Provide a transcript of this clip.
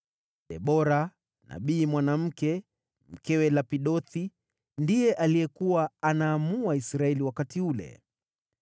Debora, nabii mwanamke, mkewe Lapidothi, ndiye alikuwa anaamua Israeli wakati ule.